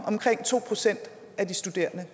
omkring to procent af de studerende